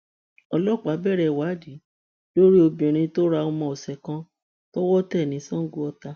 ọlọpàá bẹrẹ ìwádìí lórí obìnrin tó ra ọmọ ọsẹ kan tọwọ tẹ ní sangoọta